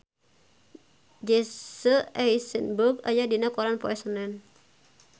Jesse Eisenberg aya dina koran poe Senen